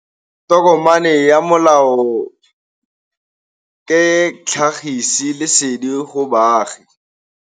tokomane ya molao ke tlhagisi lesedi go baagi